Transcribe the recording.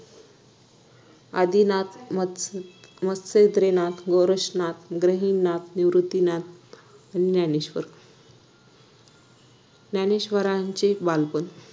आदिनाथ म मत्स मत्स्येंद्रनाथ गोरक्षनाथ गहिनीनाथ निवृत्तीनाथ आणि ज्ञानेश्वर ज्ञानेश्वरांचे बालपण